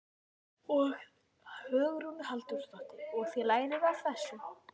Hugrún Halldórsdóttir: Og þið lærið af þessu?